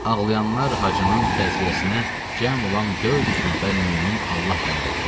Ağlayanlar Hacının təziyyəsinə cəm olan 400 nəfər mömin Allah bəndələri idi.